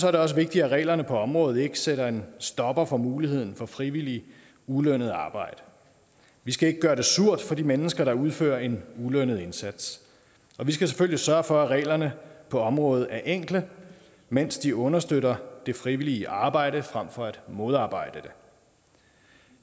er det også vigtigt at reglerne på området ikke sætter en stopper for muligheden for frivilligt ulønnet arbejde vi skal ikke gøre det surt for de mennesker der udfører en ulønnet indsats og vi skal selvfølgelig sørge for at reglerne på området er enkle mens de understøtter det frivillige arbejde frem for at modarbejde det